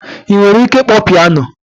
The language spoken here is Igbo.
Ị nwere ike ịkpọ piano?